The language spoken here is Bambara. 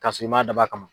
K'a sɔrɔ i m'a dabɔ a kama